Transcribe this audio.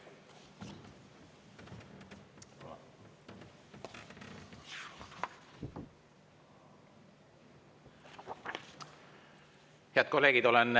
Head kolleegid!